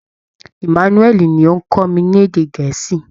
Emmanúẹ̀lì ni ó ń kọ́ mi ní èdè gẹ̀ẹ́sì